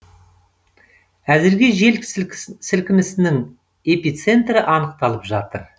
әзірге жер сілікінісің эпицентрі анықталып жатыр